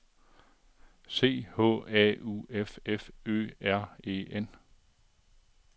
C H A U F F Ø R E N